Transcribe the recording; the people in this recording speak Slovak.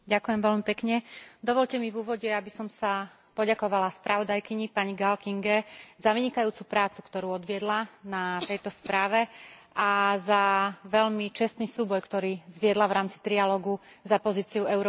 Dovoľte mi v úvode, aby som sa poďakovala spravodajkyni pani Kinge Gál za vynikajúcu prácu, ktorú odviedla na tejto správe a za veľmi čestný súboj, ktorý zviedla v rámci trialógu za pozíciu Európskeho parlamentu.